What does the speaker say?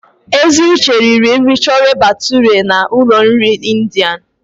Eziuche riri nri Chole bhature na ụlọ nri India.